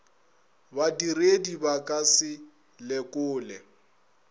badiredi ba ka se lekole